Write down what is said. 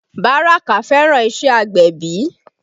Baraka fẹ́ràn iṣẹ́ agbẹ̀bí